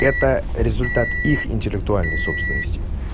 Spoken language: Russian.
это результат их интеллектуальной собственности